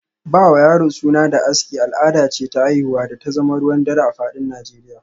Ba wa yaro suna da aski, al’ada ce ta haihuwa da ta zama ruwan dare a fadin Nijeriya